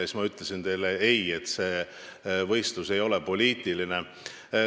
Siis ma ütlesin teile ei, sest see võistlus ei ole poliitiline.